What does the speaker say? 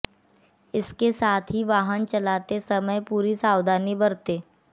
इसके साथ ही वाहन चलाते समय भी पूरी सावधानी बरतें